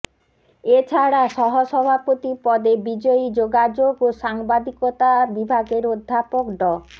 এছাড়া সহ সভাপতি পদে বিজয়ী যোগাযোগ ও সাংবাদিকতা বিভাগের অধ্যাপক ড